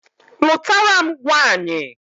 Lụtara m nwanyị